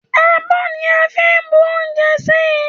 Àbọ ni à ń bu oúnjẹ sí.